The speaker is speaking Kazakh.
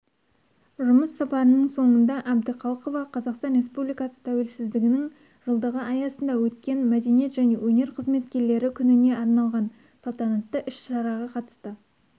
жұмыс сапарының соңында әбдіқалықова қазақстан республикасы тәуелсіздігінің жылдығы аясында өткен мәдениет және өнер қызметкерлері күніне арналған салтанатты іс-шараға қатысты